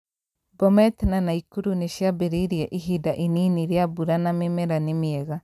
Bomet na Nakuru nĩ ciambĩrĩirie ihinda inini rĩa mbura na mĩmera nĩ mĩega.